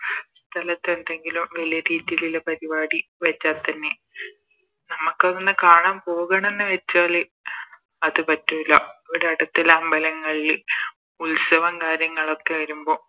സ്ഥലത്ത്എന്തെങ്കിലും വലിയ രീതിലുള്ള പരിപാടി വെച്ച തന്നെ നമുക്കതൊന്ന് കാണാൻ പോകണം ന്ന് വെച്ചാല് അത് പറ്റൂല ഇവിട അടുത്തുള്ള അമ്പലങ്ങളില് ഉത്സവം കാര്യങ്ങളൊക്കെ വരുമ്പോ